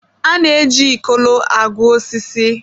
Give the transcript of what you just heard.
A na-eji Ikolo agụ osisi.